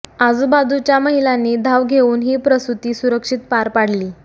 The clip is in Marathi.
आजुबाजूच्या महिलांनी धाव घेऊन ही प्रसूती सुरक्षित पार पाडली